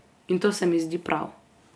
In to se mi zdi prav.